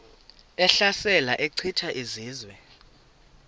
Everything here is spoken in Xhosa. ehlasela echitha izizwe